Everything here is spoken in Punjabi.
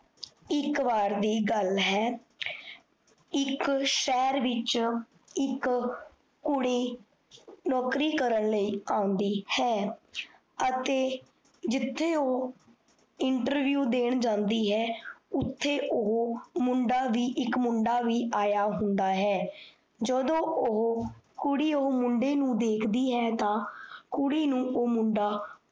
interview ਦੇਣ ਜਾਂਦੀ ਹੈ, ਉੱਥੇ ਓਹੋ ਮੁੰਡਾ ਵੀ ਇੱਕ ਮੁੰਡਾ ਵੀ ਆਇਆ ਹੁੰਦਾ ਹੈ । ਜਦੋਂ ਓਹ ਕੁੜੀ ਓਹ ਮੁੰਡੇ ਨੂੰ ਦੇਖਦੀ ਹੈ ਤਾਂ ਕੁੜੀ ਨੂੰ ਓਹ ਮੁੰਡਾ